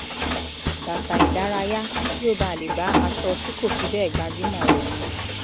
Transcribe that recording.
bàtà ìdárayá kí ó ba lè bá aṣọ tí kò fi bẹ́ẹ̀ gbajúmọ̀ rẹ̀ mu